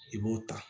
I b'o ta